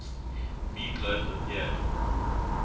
meat loaf appeared